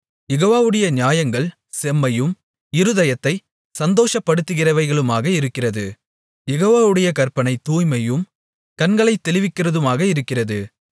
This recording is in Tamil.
யெகோவாவுடைய நியாயங்கள் செம்மையும் இருதயத்தைச் சந்தோஷப்படுத்துகிறவைகளுமாக இருக்கிறது யெகோவாவுடைய கற்பனை தூய்மையும் கண்களைத் தெளிவிக்கிறதுமாக இருக்கிறது